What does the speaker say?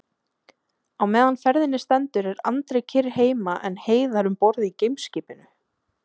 Á meðan ferðinni stendur er Andri kyrr heima en Heiðar um borð í geimskipinu.